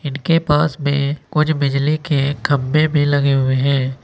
इनके पास में कुछ बिजली के खंभे भी लगे हुए हैं।